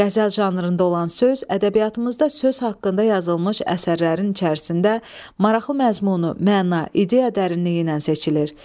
Qəzəl janrında olan söz ədəbiyyatımızda söz haqqında yazılmış əsərlərin içərisində maraqlı məzmunu, məna, ideya dərinliyi ilə seçilir.